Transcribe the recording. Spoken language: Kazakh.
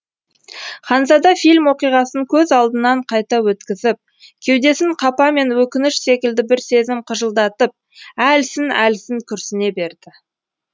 ханзада фильм оқиғасын көз алдынан қайта өткізіп кеудесін қапа мен өкініш секілді бір сезім қыжылдатып әлсін әлсін күрсіне берді